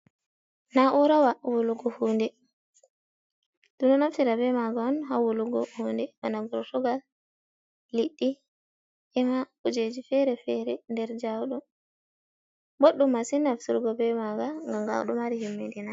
Na'urawa wulugo hunde ɗuɗa naftira be maga on ha wulugo hunde bana kurtugal, liɗɗi ema kujeji fere-fere nder jauɗum, boɗɗum masin naftirgo be maga ngam ga ɗo mari himmi ɗina.